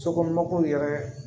Sokɔnɔw yɛrɛ